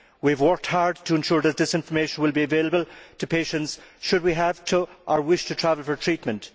We have worked hard to ensure that this information will be available to patients should we have to or wish to travel for treatment.